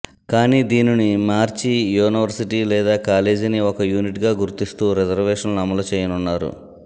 కానీ దీనిని మార్చి యూనివర్సిటీ లేదా కాలేజీని ఒక యూనిట్గా గుర్తిస్తూ రిజర్వేషన్లు అమలు చేయనున్నారు